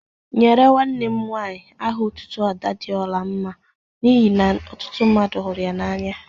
Enyere nwanne m nwaanyi aha otutu Ada di ora mma n'ihi na ọtụtụ mmadu huru ya n'anya.